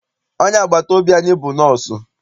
Onye agbata obi anyị bụ nọsụ.